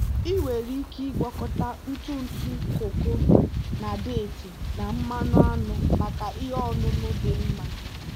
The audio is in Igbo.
ị nwere ike ịgwakọta ntụ ntụ koko na deeti na mmanụ aṅụ maka ihe ọṅụṅụ dị mma.